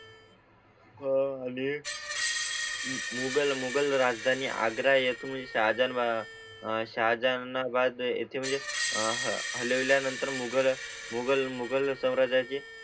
हां. आणि. मुगल राजधानी आग्रा येथून सहा जण बा शाह जहानाबाद येते म्हणजे आह हलविल्या नंतर मुघल गूगल मुघल साम्राज्या ची